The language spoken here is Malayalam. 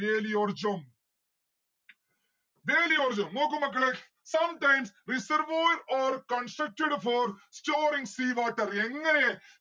വേലിയോർജം വേലിയോർജം നോക്ക് മക്കളെ sometimes, reservoirs constructed for storing sea water എങ്ങനെ